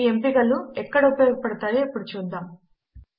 ఈ ఎంపిక లు ఎక్కడ ఉపయోగపడతాయో ఇప్పుడు చూద్దాము